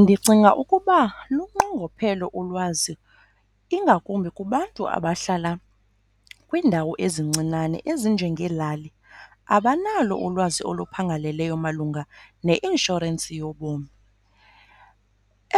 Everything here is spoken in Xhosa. Ndicinga ukuba lunqongophele ulwazi ingakumbi kubantu abahlala kwiindawo ezincinane ezinjengelali, abanalo ulwazi oluphangaleleyo malunga neinshorensi yobomi.